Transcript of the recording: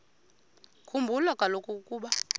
khumbula kaloku ukuba